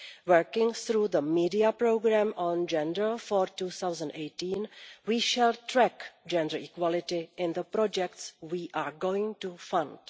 Working through the media programme on gender for 2018, we shall track gender equality in the projects we are going to fund.